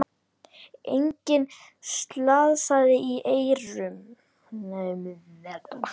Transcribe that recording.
Enginn slasaðist í erjunum